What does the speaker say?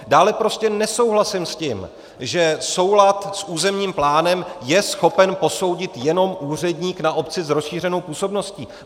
Dále prostě nesouhlasím s tím, že soulad s územním plánem je schopen posoudit jenom úředník na obci s rozšířenou působností.